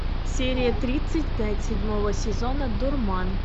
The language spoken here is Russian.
серия тридцать пять седьмого сезона дурман